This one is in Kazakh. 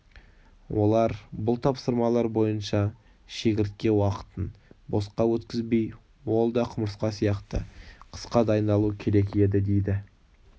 олар бұл тапсырмалар бойынша шегіртке уақытын босқа өткізбей ол да құмырсқа сияқты қысқа дайындалу керек еді дейді